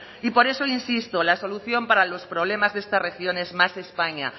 y por eso le insisto la solución para los problemas de estas regiones es más españa